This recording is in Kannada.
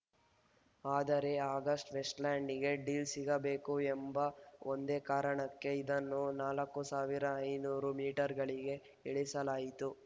ಆದರೆ ಅಗಸ್ಟಾವೆಸ್ಟ್‌ಲ್ಯಾಂಡ್‌ಗೆ ಡೀಲ್‌ ಸಿಗಬೇಕು ಎಂಬ ಒಂದೇ ಕಾರಣಕ್ಕೆ ಇದನ್ನು ನಾಲ್ಕುಸಾವಿರ ಐನೂರು ಮೀಟರ್‌ಗಳಿಗೆ ಇಳಿಸಲಾಯಿತು